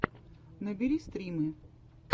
набери стримы